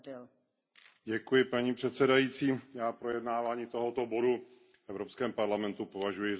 Paní předsedající, já projednáváni tohoto bodu v Evropském parlamentu považuji za nadbytečné.